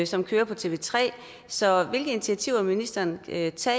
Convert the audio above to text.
som kører på tv3 så hvilke initiativer vil ministeren tage til